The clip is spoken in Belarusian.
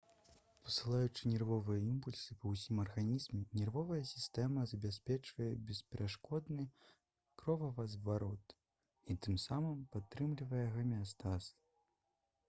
пасылаючы нервовыя імпульсы па ўсім арганізме нервовая сістэма забяспечвае бесперашкодны кровазварот і тым самым падтрымлівае гамеастаз